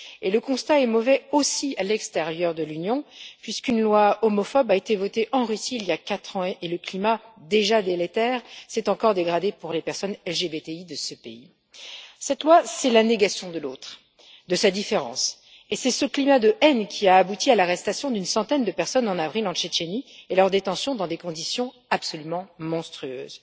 Le constat est mauvais aussi à l'extérieur de l'Union puisqu'une loi homophobe a été votée en Russie il y a quatre ans et que le climat, déjà délétère, s'est encore dégradé pour les personnes LGBTI de ce pays. Cette loi, c'est la négation de l'autre, de sa différence, et c'est ce climat de haine qui a abouti à l'arrestation d'une centaine de personnes en avril en Tchétchénie et à leur détention dans des conditions absolument monstrueuses.